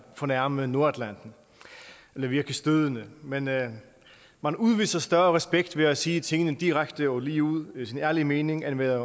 fornærme nordatlanten eller virke stødende men man man udviser større respekt ved at sige tingene direkte og ligeud sige sin ærlige mening end ved at